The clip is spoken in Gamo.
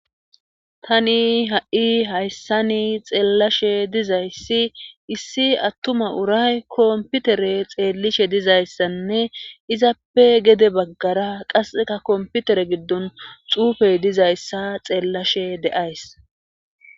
Tani ha'i hayssani xeellashe dizayssi issi attuma uray komputere xeellishe dizayssanne izappe gede baggara qasseka komputere giddon xuufey dizayssa xeellashe deays.